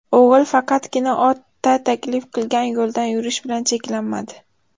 O‘g‘il faqatgina ota taklif qilgan yo‘ldan yurish bilan cheklanmadi.